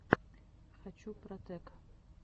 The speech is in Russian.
хочу протэк